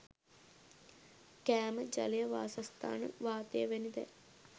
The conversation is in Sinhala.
කෑම ජලය වාසස්ථාන වාතය වැනි දෑ